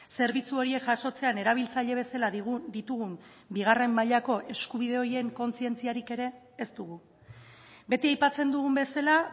zerbitzu horiek jasotzean erabiltzaile bezala ditugun bigarren mailako eskubide horien kontzientziarik ere ez dugu beti aipatzen dugun bezala